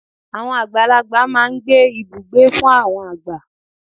Àwọn àgbàlagbà máa n gbé Ibùgbé fún àwọn àgbà